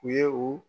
U ye u